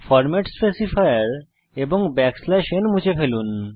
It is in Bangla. ফরমেট স্পেসিফায়ার এবং n মুছে ফেলুন